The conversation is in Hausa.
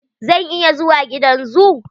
Zan iya zuwa gidan zoo?